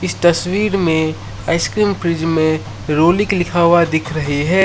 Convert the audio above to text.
इस तस्वीर में आइसक्रीम फ्रिज में रॉलिक लिखा हुआ दिख रहे है।